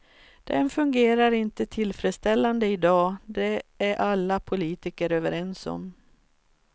Den fungerar inte tillfredsställande i dag, det är alla politiker överens om.